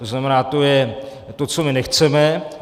To znamená, to je to, co my nechceme.